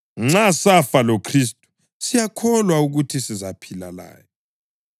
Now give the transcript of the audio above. Nxa safa loKhristu, siyakholwa ukuthi sizaphila laye.